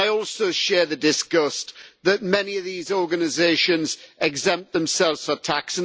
I also share the disgust that many of these organisations exempt themselves for tax.